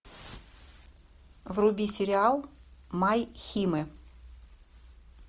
вруби сериал май химэ